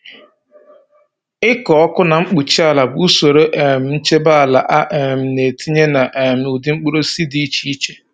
Ịkụ ọkụ na mkpuchi ala bụ usoro um nchebe ala a um na-etinye na um ụdị mkpụrụosisi dị iche iche.